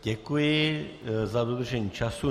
Děkuji za dodržení času.